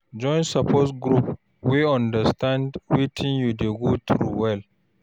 Join support group wey understand wetin you dey go through well.